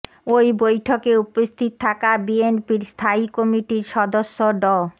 ওই বৈঠকে উপস্থিত থাকা বিএনপির স্থায়ী কমিটির সদস্য ড